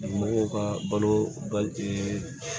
Mɔgɔw ka balo ba